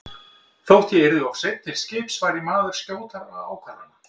Þótt ég yrði of seinn til skips var ég maður skjótra ákvarðana.